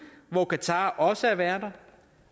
hvor qatar også er vært